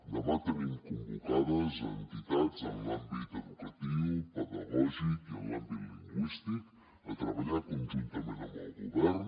demà tenim convocades entitats en l’àmbit educatiu pedagògic i en l’àmbit lingüístic per treballar conjuntament amb el govern